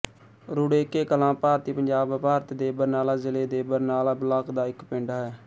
ਰੁੜੇਕੇ ਕਲਾਂ ਭਾਰਤੀ ਪੰਜਾਬ ਭਾਰਤ ਦੇ ਬਰਨਾਲਾ ਜ਼ਿਲ੍ਹਾ ਦੇ ਬਰਨਾਲਾ ਬਲਾਕ ਦਾ ਇੱਕ ਪਿੰਡ ਹੈ